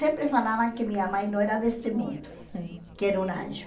Sempre falavam que minha mãe não era deste mundo, que era um anjo.